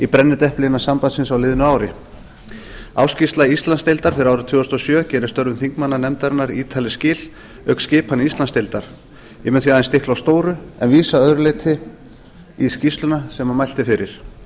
brennidepli innan sambandsins á liðnu ári ársskýrsla íslandsdeildar fyrir árið tvö þúsund og sjö gerir störfum þingmannanefndarinnar ítarleg skil auk skipan íslandsdeildar ég mun því aðeins stikla á stóru en vísa að öðru leyti í skýrsluna sem mælt er fyrir